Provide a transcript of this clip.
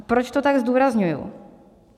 A proč to tak zdůrazňuji?